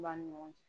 Ba ɲɔgɔn